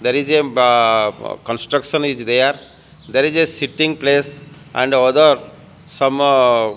there is a ba construction is there there is a sitting place and other some --